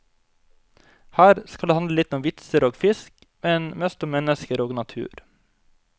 Her skal det handle litt om vitser og fisk, men mest om mennesker og natur.